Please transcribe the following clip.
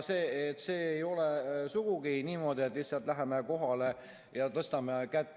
See ei käi sugugi niimoodi, et lihtsalt läheme kohale ja tõstame kätt.